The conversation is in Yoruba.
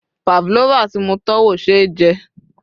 pavlova ti mo tọ́wò ṣe jẹ